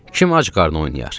Kim ac qarnı oynayar?